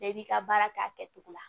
Bɛɛ b'i ka baara kɛ a kɛcogo la